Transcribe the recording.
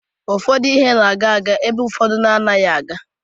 Ụfọdụ ihe na-aga aga ebe ụfọdụ anaghị aga aga.